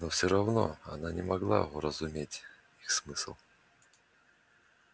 но все равно она не могла уразуметь их смысл